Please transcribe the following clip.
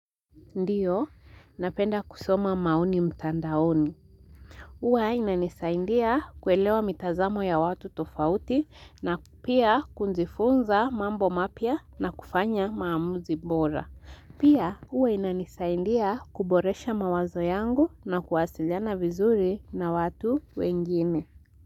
Ndiyo, napenda kusoma maoni mtandaoni. Huwa inanisaindia kulewa mitazamo ya watu tofauti na pia kunzifunza mambo mapya na kufanya maamuzi bora. Pia, uwa ina nisaindia kuboresha mawazo yangu na kuwasiliana vizuri na watu wengine.